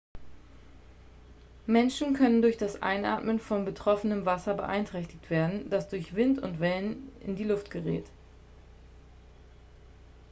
menschen können durch das einatmen von betroffenem wasser beeinträchtigt werden das durch wind und wellen in die luft gerät